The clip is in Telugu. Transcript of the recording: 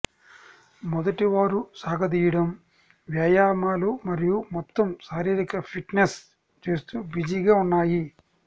మొదట వారు సాగదీయడం వ్యాయామాలు మరియు మొత్తం శారీరక ఫిట్నెస్ చేస్తూ బిజీగా ఉన్నాయి